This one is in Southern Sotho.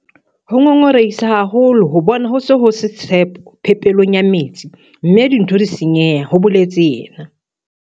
Ho ngongorehisa haholo ho bona ho se ho se tshepo phepelong ya metsi mme dintho di senyeha, ho boletse yena.